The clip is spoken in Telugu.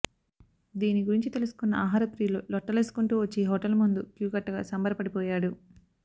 దీని గురించి తెలుసుకున్న ఆహార ప్రియులు లొట్టలేసుకుంటూ వచ్చి హోటల్ ముందు క్యూ కట్టగా సంబరపడిపోయాడు